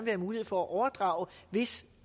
have mulighed for at overdrage hvis